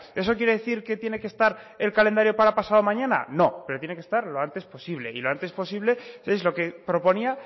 eso quiere decir que tiene que estar en calendario para pasado mañana no pero tiene que estar lo antes posible y lo antes posible es lo que proponía